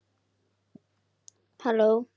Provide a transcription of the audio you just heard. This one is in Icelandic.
Rósa Þóra.